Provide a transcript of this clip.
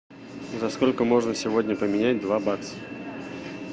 за сколько можно сегодня поменять два бакса